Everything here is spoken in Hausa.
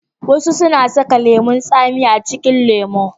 wasu na saka lemun tsami a cikin lemo